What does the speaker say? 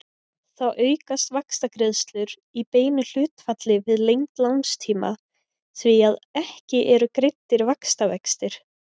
Þá aukast vaxtagreiðslur í beinu hlutfalli við lengd lánstíma því að ekki eru greiddir vaxtavextir.